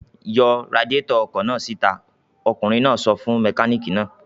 "Yọ radiátọ̀ ọkọ̀ náà síta!" Ọkùnrin náà sọ fún mẹkáníkì náà.